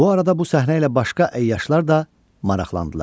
Bu arada bu səhnə ilə başqa əyyaşlar da maraqlandılar.